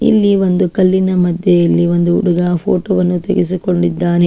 ಇಲ್ಲಿ ಒಂದು ಕಲ್ಲಿನ ಮದ್ಯೆ ಒಂದು ಹುಡುಗ ಫೋಟೋ ವನ್ನು ತೆಗಿಸಿಕೊಂಡಿದ್ದಾನೆ.